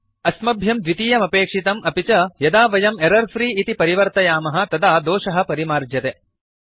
अस्मभ्यं द्वितीयमपेक्षितम् अपि च यदा वयं एरर्फ्री इति परिवर्तयामः तदा दोषः परिमार्ज्यते